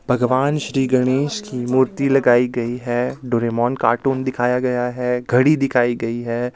भगवान श्री गणेश की मूर्ति लगाई गई है डोरेमोन कार्टून दिखाया गया है घड़ी दिखाई गई है.